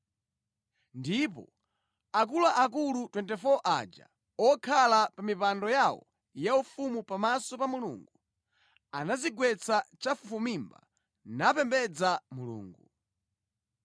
Ndipo akuluakulu 24 aja okhala pa mipando yawo yaufumu pamaso pa Mulungu, anadzigwetsa chafufumimba napembedza Mulungu